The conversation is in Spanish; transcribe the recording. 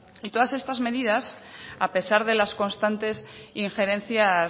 y todas estas medidas a pesar de las constantes injerencias